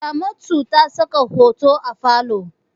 Ramatu ta saka hoto a falo.